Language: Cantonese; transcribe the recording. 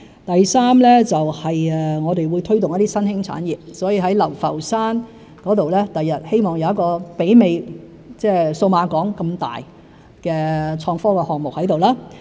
第三，我們會推動一些新興產業，希望未來在流浮山有一個規模媲美數碼港的創科項目。